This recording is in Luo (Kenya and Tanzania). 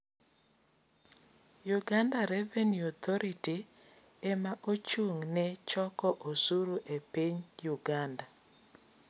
Uganda Revenue Authority ema ochung' ne choko osuru e piny Uganda.